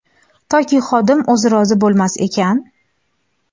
toki xodim o‘zi rozi bo‘lmas ekan.